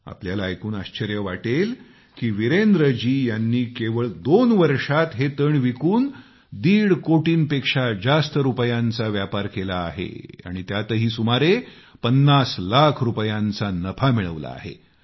आपल्याला ऐकून आश्चर्य वाटेल की वीरेंद्र जी यांनी केवळ दोन वर्षात हे तण विकून दीड कोटींपेक्षा जास्त रुपयांचा व्यापार केला आहे आणि त्यातही सुमारे 50 लाख रुपयांचा नफा मिळवला आहे